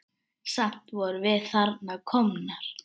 Samt vorum við þarna komnar.